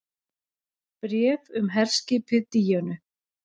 BRÉF UM HERSKIPIÐ DÍÖNU